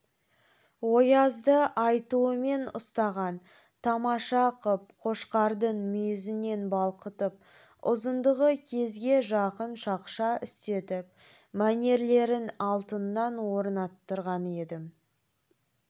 оязды айтуымен ұстаға тамаша қып қошқардың мүйізінен балқытып ұзындығы кезге жақын шақша істетіп мәнерлерін алтыннан орнаттырған едім